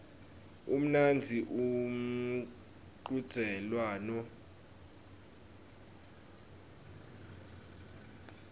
umnandzi umchudzelwano wematubane